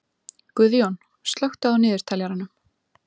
Guðjón, slökktu á niðurteljaranum.